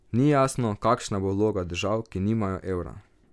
Ni jasno, kakšna bo vloga držav, ki nimajo evra.